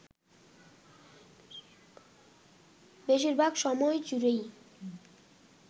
বেশিরভাগ সময় জুড়েই